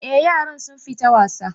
Eh, yaran sun fita wasa